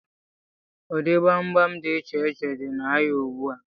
Ụdị gbamgbam dị íchè iche dị na áhiá ùgbúà